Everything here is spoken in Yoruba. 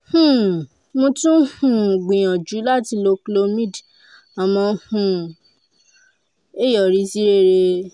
um mo tún um gbìyànjú láti lo clomid àmọ́ um kò yọrí sí rere